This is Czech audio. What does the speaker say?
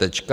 Tečka.